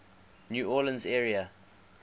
new orleans area